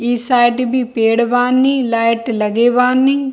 इ साइड भी पेड़ बानी लाइट लगे बानी --